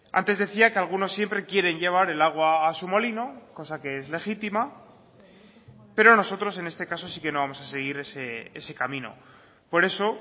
antes decía que algunos siempre quieren llevar el agua a su molino cosa que es legítima pero nosotros en este caso sí que no vamos a seguir ese camino por eso